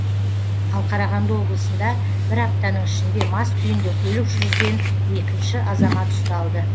ал қарағанды облысында бір аптаның ішінде мас күйінде көлік жүргізген екінші азамат ұсталды